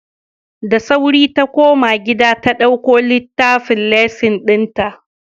Da sauri ta koma gida ta dauko littafin lesson dinta.